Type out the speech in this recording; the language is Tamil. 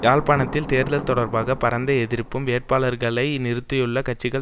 யாழ்ப்பாணத்தில் தேர்தல் தொடர்பாக பரந்த எதிர்ப்பும் வேட்பாளர்களை நிறுத்தியுள்ள கட்சிகள்